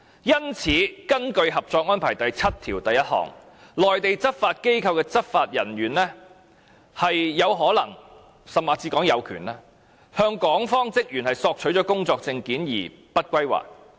因此，根據《合作安排》第七1條，內地執法機構的執法人員有可能，甚至是有權向港方職員索取工作證件而不歸還。